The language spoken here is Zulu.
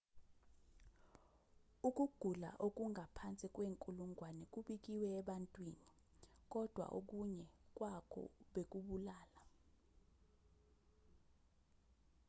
ukugula okungaphansi kwenkulungwane kubikiwe ebantwini kodwa okunye kwakho bekubulala